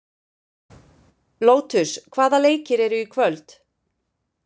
Lótus, hvaða leikir eru í kvöld?